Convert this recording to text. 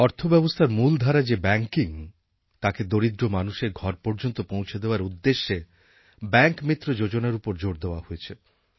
অর্থব্যবস্থার মূল ধারা যে ব্যাঙ্কিং তাকে দরিদ্র মানুষের ঘর পর্যন্ত পৌঁছে দেওয়ার উদ্দেশে ব্যাঙ্ক মিত্র যোজনার ওপর জোর দেওয়া হয়েছে